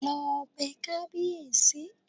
Lọ bẹ kábíèsí!